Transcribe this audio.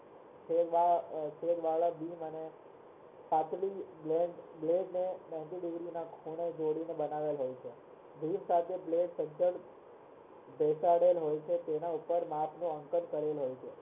ninety degree ના ખૂણે જોડીને બનાવેલ હોય બેસાડેલા હોય છે તેના ઉપર માપનો આંકન કરેલ હોય